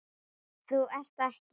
Þú ert ekki.